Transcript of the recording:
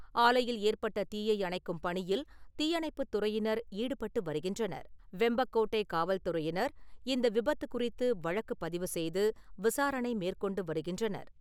ஆலையில் ஏற்பட்ட தீயை அணைக்கும் பணியில் தீயணைப்புப் துறையினர் ஈடுபட்டு வருகின்றனர். வெம்பக்கோட்டை காவல் துறையினர் இந்த விபத்து குறித்து வழக்குப் பதிவு செய்து விசாரணை மேற்கொண்டு வருகின்றனர்.